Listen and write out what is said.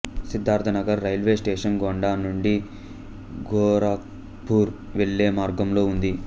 Siddharthnagar railway station Gonda నుండి గోరఖ్పూర్ వెళ్ళే మార్గంలో ఉంది